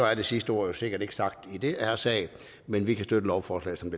er det sidste ord sikkert ikke sagt i den her sag men vi kan støtte lovforslaget som det